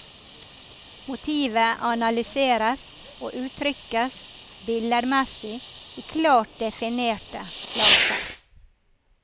Motivet analyseres og uttrykkes billedmessig i klart definerte flater.